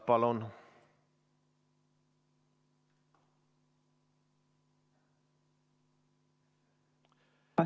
Palun!